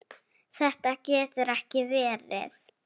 Þetta getur ekki verið!